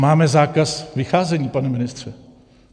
Máme zákaz vycházení, pane ministře!